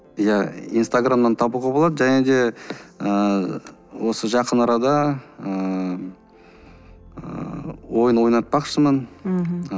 иә инстаграмнан табуға болады және де ыыы осы жақын арада ыыы ойын ойнатпақшымын мхм